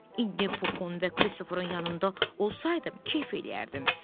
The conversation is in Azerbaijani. İndi Puxun və Kristoferin yanında olsaydım, kef eləyərdim.